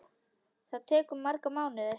Það tekur marga mánuði.